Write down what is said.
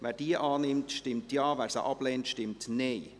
Wer diese annimmt, stimmt Ja, wer sie ablehnt, stimmt Nein.